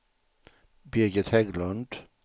Birgit Hägglund